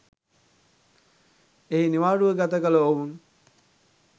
එහි නිවාඩුව ගත කළ ඔවුන්